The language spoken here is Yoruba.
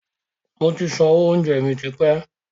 Moti sanwó oúnjẹ mi tipẹ́